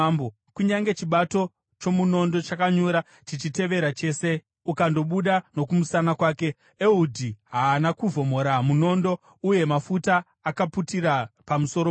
Kunyange chibato chomunondo chakanyura chichitevera chese, ukandobuda nokumusana kwake. Ehudhi haana kuvhomora munondo, uye mafuta akaputira pamusoro pawo.